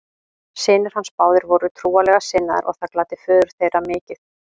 Synir hans báðir voru trúarlega sinnaðir og það gladdi föður þeirra mikið.